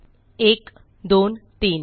1 2 3